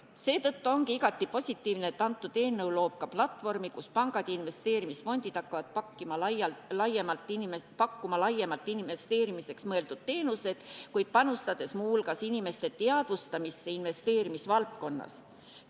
Seetõttu ongi igati positiivne, et see seadus loob ka platvormi, kus pangad ja investeerimisfondid hakkavad pakkuma laiemalt investeerimiseks mõeldud teenuseid, kuid panustades muu hulgas inimeste teadvustamisse investeerimisvaldkonnas toimuvast.